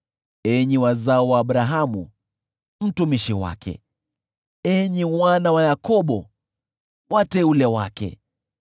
enyi wazao wa Abrahamu mtumishi wake, enyi wana wa Yakobo, wateule wake.